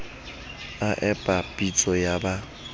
a epa pitso ya ba